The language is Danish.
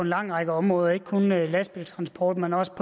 lang række områder ikke kun i lastbiltransport men også